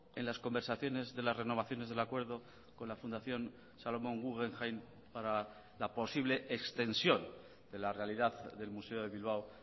en las conversaciones de las renovaciones del acuerdo con la fundación salomon guggenheim para la posible extensión de la realidad del museo de bilbao